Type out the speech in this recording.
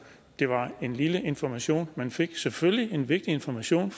det var en lille information vi fik selvfølgelig en vigtig information